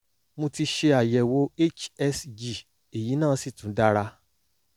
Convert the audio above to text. mo ti ṣe àyẹ̀wò hsg èyí náà sì tún dára